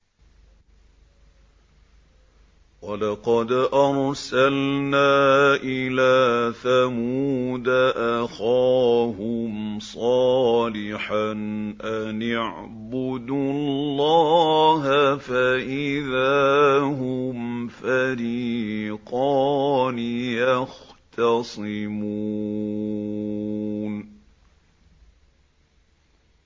وَلَقَدْ أَرْسَلْنَا إِلَىٰ ثَمُودَ أَخَاهُمْ صَالِحًا أَنِ اعْبُدُوا اللَّهَ فَإِذَا هُمْ فَرِيقَانِ يَخْتَصِمُونَ